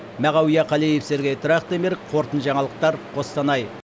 мағауия қалиев сергей трахтенберг қорытынды жаңалықтар қостанай